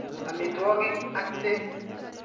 Amitwogik ak peek.